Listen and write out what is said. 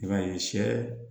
I b'a ye sɛ